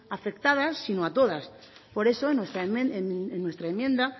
afectadas sino a todas por eso en nuestra enmienda